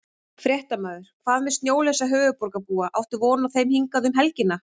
Fréttamaður: Hvað með snjólausa höfuðborgarbúa, áttu von á þeim hingað um helgina?